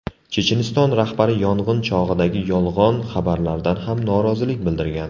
Checheniston rahbari yong‘in chog‘idagi yolg‘on xabarlardan ham norozilik bildirgan.